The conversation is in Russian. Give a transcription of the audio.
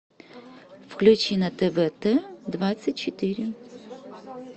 включи на тв т двадцать четыре